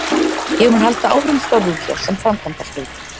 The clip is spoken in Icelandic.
Ég mun halda áfram störfum hér sem framkvæmdastjóri